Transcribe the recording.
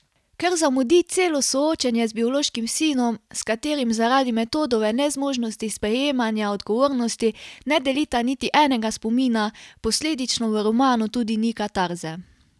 Ker zamudi celo soočenje z biološkim sinom, s katerim zaradi Metodove nezmožnosti sprejemanja odgovornosti ne delita niti enega spomina, posledično v romanu tudi ni katarze.